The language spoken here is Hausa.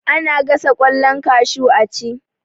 Ana gasa ƙwallon kashu a ci